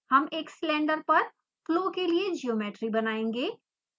हम एक सिलिंडर पर फ्लो के लिए ज्योमेट्री बनाएंगे